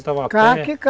estavam a pé?